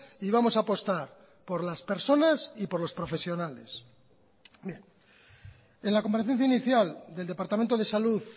y vamos a apostar por las personas y por los profesionales en la comparecencia inicial del departamento de salud